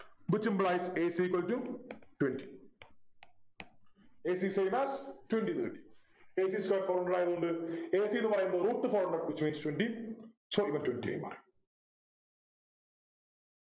Which implies ac equal to twenty ac same as twenty ന്നു കിട്ടി a c square four hundred ആയത്കൊണ്ട് എന്ത്‌ a c ന്നു പറയുന്നത് Root four hundred which means twenty so ഇവൻ twenty ആയി മാറി